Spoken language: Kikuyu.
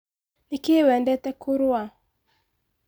Nĩkĩ wendete kũrũa?